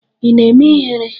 Ị na-eme ihere?